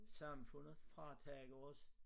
Samfundet fratager os